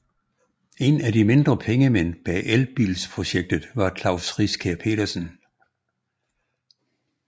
En af de mindre pengemænd bag elbilsprojektet var Klaus Riskær Pedersen